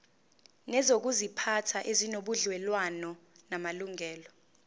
nezokuziphatha ezinobudlelwano namalungelo